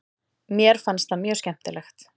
Mér fannst það mjög skemmtilegt.